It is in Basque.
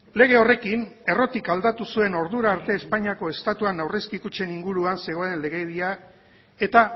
lege horrekin errotik aldatu zuen ordura arte espainiako estatuan aurrezki kutxei inguruan zegoen legedia eta